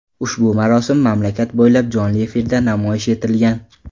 Ushbu marosim mamlakat bo‘ylab jonli efirda namoyish etilgan.